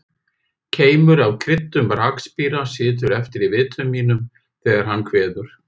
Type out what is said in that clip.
Keimur af krydduðum rakspíra situr eftir í vitum mínum þegar hann kveður.